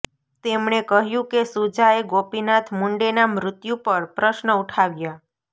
તેમણે કહ્યું કે સુજાએ ગોપીનાથ મુંડેના મૃત્યુ પર પ્રશ્ન ઉઠાવ્યા